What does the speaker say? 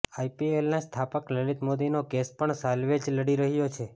આઈપીએલના સ્થાપક લલિત મોદીનો કેસ પણ સાલ્વે જ લડી રહ્યા છે